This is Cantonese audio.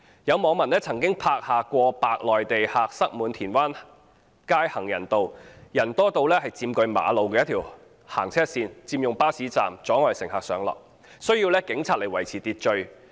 有網民曾經拍下過百名內地旅客塞滿田灣街行人路，人多到佔據馬路一條行車線，佔用巴士站，阻礙乘客上落，需要警員到場維持秩序。